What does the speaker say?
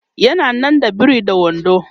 yana nan da biri da wando